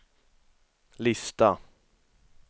lista